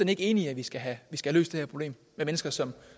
ikke enig i at vi skal have løst det her problem med mennesker som